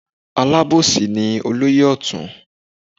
Alábòsí ni olóyè ọ̀tún.